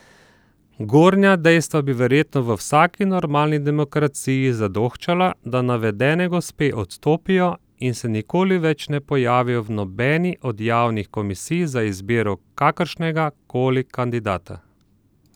Gornja dejstva bi verjetno v vsaki normalni demokraciji zadoščala, da navedene gospe odstopijo in se nikoli več ne pojavijo v nobeni od javnih komisij za izbiro kakršnega koli kandidata.